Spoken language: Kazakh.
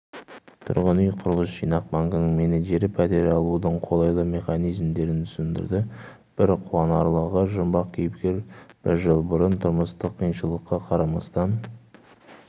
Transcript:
тұрғын үй құрылыс жинақ банкінің менеджері пәтер алудың қолайлы механизмдерін түсіндірді бір қуанарлығы жұмбақ кейіпкер бір жыл бұрын тұрмыстық қиыншылыққа қарамастан